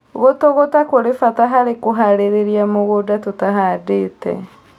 Gũtũgũta kũrĩ bata harĩ kũharĩrĩa mũgũnda tũtahandĩte